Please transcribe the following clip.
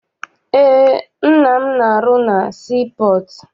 Eé, nna m na arụ na sii pọọtụ.